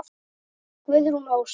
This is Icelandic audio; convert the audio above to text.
Guðrún Ósk.